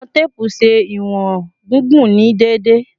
Iwọn teepu ṣe iwọn gigun ni deede